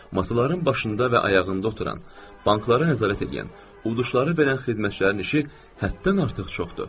Masaların başında və ayağında oturan, banklara nəzarət eləyən, uduşları verən xidmətçilərin işi həddən artıq çoxdur.